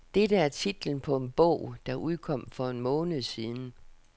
Dette er titlen på en bog, der udkom for en måned siden.